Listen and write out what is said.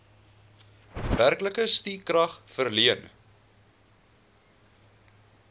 werklike stukrag verleen